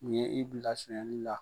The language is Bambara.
Ni ye i bila a sɛnɛli la?